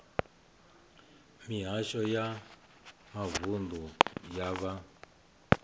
mihasho ya mavunḓu ya vha